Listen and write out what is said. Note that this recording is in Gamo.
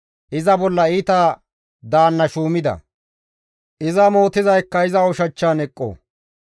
Iza bolla iita daanna shuuma; iza mootizaykka iza ushachchan eqqo.